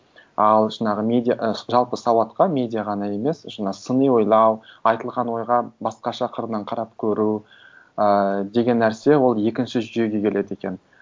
ал жаңағы ы жалпы сауатқа медиа ғана емес жаңа сыни ойлау айтылған ойға басқаша қырынан қарап көру ыыы деген нәрсе ол екінші жүйеге келеді екен